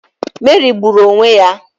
Meri gburu onwe ya.